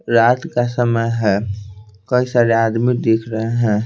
रात का समय है कई सारे आदमी दिख रहे हैं।